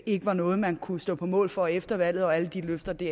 ikke var noget man kunne stå på mål for efter valget hvor alle de løfter blev